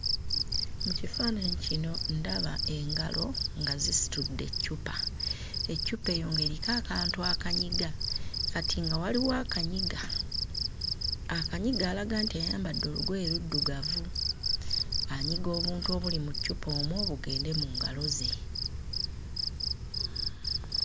Mu kifaananyi kino ndaba engalo nga zisitudde eccupa. Eccupa eyo ng'eriko akantu akanyiga, kati nga waliwo waliwo akanyiga. Akanyiga alaga nti ayambadde olugoye luddugavu, anyiga obuntu obuli mu ccupa omwo bugende mu ngalo ze.